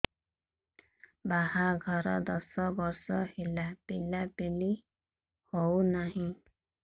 ବାହାଘର ଦଶ ବର୍ଷ ହେଲା ପିଲାପିଲି ହଉନାହି